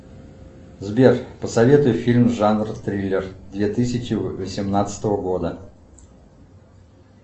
сбер посоветуй фильм жанр триллер две тысячи восемнадцатого года